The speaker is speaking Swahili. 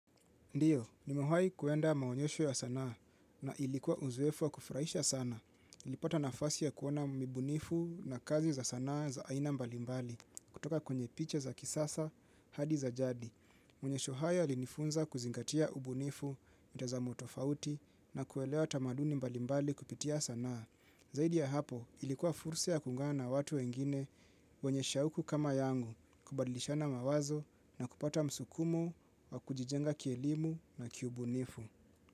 Ndiyo, ni mewahai kuenda maonyesho ya sanaa na ilikuwa uzoefu wa kufurahisha sana. Nilipata nafasi ya kuoana nibunifu na kazi za sanaa za aina mbalimbali kutoka kwenye picha za kisasa hadi za jadi. Maonyesho hayo yalinifunza kuzingatia ubunifu mtaza motofauti na kuelewa tamaduni mbalimbali kupitia sanaa. Zaidi ya hapo ilikuwa fursa ya kuunga na watu wengine wenye sha uku kama yangu kubadilisha na mawazo na kupata msukumo wa kujijenga kielimu na kiubunifu.